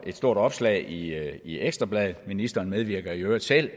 stort opslag i i ekstra bladet ministeren medvirker i øvrigt selv